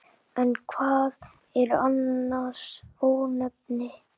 En hvað eru annars ónefni?